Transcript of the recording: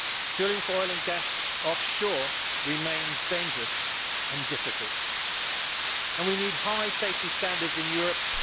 Drilling for oil and gas offshore remains dangerous and difficult and we need high safety standards in Europe.